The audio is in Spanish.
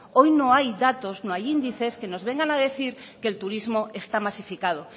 hoy no hay datos no hay índices que nos vengan a decir que el turismo está masificado